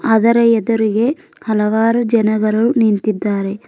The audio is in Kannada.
ಅದರ ಎದುರಿಗೆ ಹಲವಾರು ಜನಗರು ನಿಂತಿದ್ದಾರೆ.